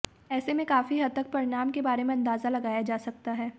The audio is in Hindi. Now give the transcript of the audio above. ऐसे में काफी हद तक परिणाम के बारे में अंदाजा लगाया जा सकता है